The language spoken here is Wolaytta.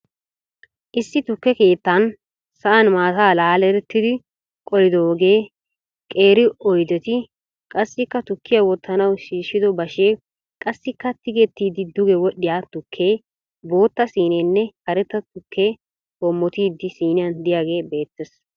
Issi tukke keettaan sa'aan maataa laalerettidi qollidoogeenne qeeri oydetti, qassikka tukkiya wottanawu shiishshido bashee, qassikka, tigettidi duge wodhdhiya tukke. bootta siineenne karetta tuukkee hoommottidi siniyan de'iyagee beettees.